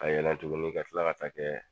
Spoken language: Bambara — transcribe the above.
A yɛlɛn tuguni ka tila ka taa kɛɛ